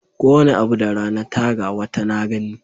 Kowane abu da rana ta ga, wata na gani.